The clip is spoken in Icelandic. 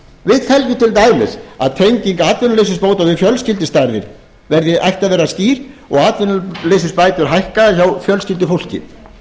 við teljum til dæmis að tenging atvinnuleysisbóta við fjölskyldustærð ættu að vera skýr og atvinnuleysisbætur hækka hjá fjölskyldufólki